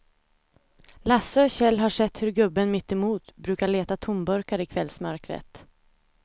Lasse och Kjell har sett hur gubben mittemot brukar leta tomburkar i kvällsmörkret.